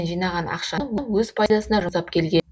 жинаған ақшаны өз пайдасына жұмсап келген